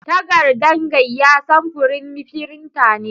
Tagardan gaiya samfurin firinta ne.